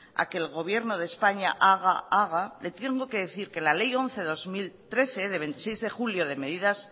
a que el gobierno de españa haga haga le tengo que decir que la ley once de dos mil trece de veintiséis de julio de medidas